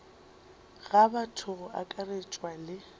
ga batho go akaretšwa le